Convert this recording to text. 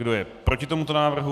Kdo je proti tomuto návrhu?